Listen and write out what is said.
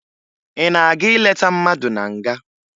Ị na-aga ileta mmadụ na nga?